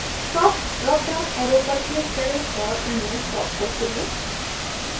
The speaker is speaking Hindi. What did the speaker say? stop drop down arrow पर click करें और अन्य stop को चुनें